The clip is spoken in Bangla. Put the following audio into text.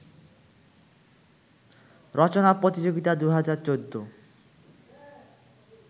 রচনা প্রতিযোগিতা ২০১৪